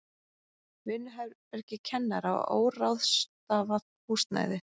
Vinnuherbergi kennara og óráðstafað húsnæði.